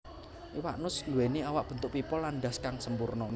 Iwak nus nduwèni awak bentuk pipa lan ndhas kang sampurna